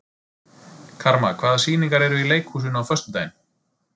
Karma, hvaða sýningar eru í leikhúsinu á föstudaginn?